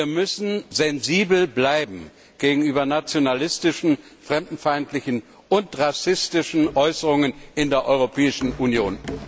Wir müssen sensibel bleiben gegenüber nationalistischen, fremdenfeindlichen und rassistischen Äußerungen in der Europäischen Union.